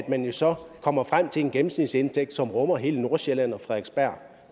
man så kommer frem til en gennemsnitsindtægt som rummer hele nordsjælland